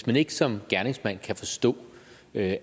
man ikke som gerningsmand kan forstå at